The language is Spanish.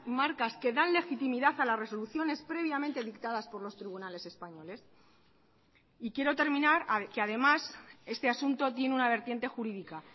marcas que dan legitimidad a las resoluciones previamente dictadas por los tribunales españoles y quiero terminar que además este asunto tiene una vertiente jurídica